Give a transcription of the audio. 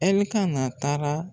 Ɛlikana taara